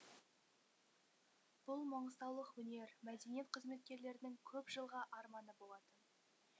бұл маңғыстаулық өнер мәдениет қызметкерлерінің көп жылғы арманы болатын